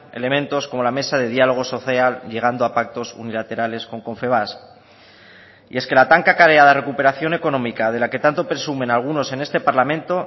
elementos como la mesa de diálogo social llegando a pactos unilaterales con confebask y es que la tan cacareada recuperación económica de la que tanto presumen algunos en este parlamento